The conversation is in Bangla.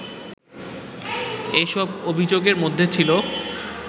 এসব অভিযোগের মধ্যে ছিল